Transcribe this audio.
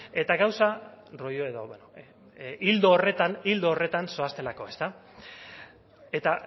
eta gauza rollo edo bueno ildo horretan ildo horretan zoaztelako ezta eta